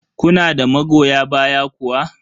Kuna da magoya baya kuwa?